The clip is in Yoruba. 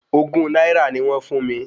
Ogún náírà ni wọ́n fún mi